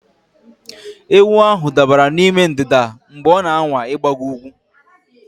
Ewu ahụ dabara n'ime ndịda mgbe ọ na-anwa ịgbago ugwu